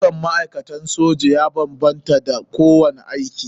Ɗaukar ma'aikatan soji ya banbanta da na kowane aiki.